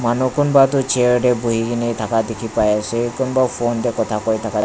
manu kunba tu chair tae buhikae na thaka dikhipaiase kunba phone tae khota kurithaka--